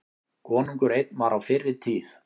Konungur einn var á fyrri tíð.